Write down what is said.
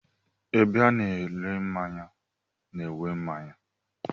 Ebe a na-ere mmanya nwe mmanya.